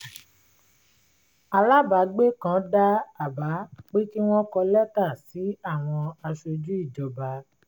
alábàágbé kan dá àbá pé kí wọ́n kọ lẹ́tà sí àwọn aṣojú ìjọba